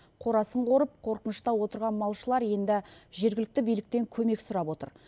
қорасын қорып қорқынышта отырған малшылар енді жергілікті биліктен көмек сұрап отыр